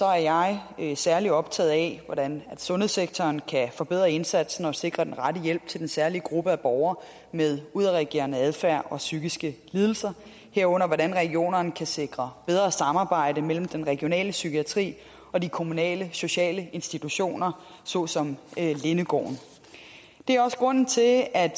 er jeg særlig optaget af hvordan sundhedssektoren kan forbedre indsatsen og sikre den rette hjælp til den særlige gruppe borgere med udadreagerende adfærd og psykiske lidelser herunder hvordan regionerne kan sikre bedre samarbejde mellem den regionale psykiatri og de kommunale sociale institutioner såsom lindegården det er også grunden til at